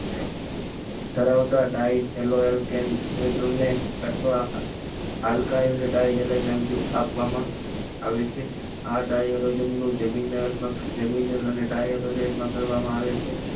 ધરાવતા ડાઈટ એલોકેન થવા આલકાઈલ ડાઇલહેલેન નામથી આપવામાં આવે છે આ ડાઈરોડઝનનું